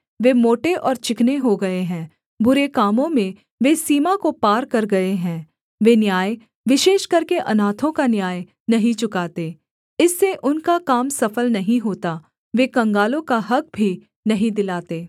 वे मोटे और चिकने हो गए हैं बुरे कामों में वे सीमा को पार कर गए हैं वे न्याय विशेष करके अनाथों का न्याय नहीं चुकाते इससे उनका काम सफल नहीं होता वे कंगालों का हक़ भी नहीं दिलाते